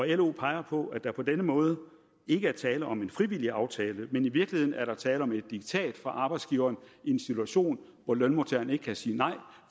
lo peger på at der på denne måde ikke er tale om en frivillig aftale men i virkeligheden er der tale om et diktat fra arbejdsgiveren i en situation hvor lønmodtageren ikke kan sige nej